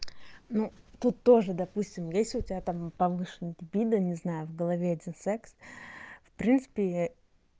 ну тут тоже допустим если у тебя там на повышение либидо не знаю в голове один секс в принципе